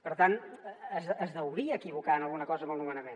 per tant és deuria equivocar en alguna cosa amb el nomenament